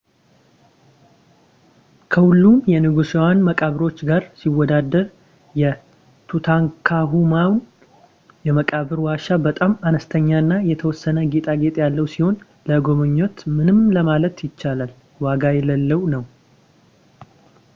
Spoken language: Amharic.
ከሁሉም የንጉሳውያን መቃብሮች ጋር ሲወዳደር፣ የtutankhamun የመቃብር ዋሻ በጣም አነስተኛና የተወሰነ ጌጣጌጥ ያለው ሲሆን ለመጎብኘት ምንም ለማለት ይቻላል ዋጋ የሌለው ነው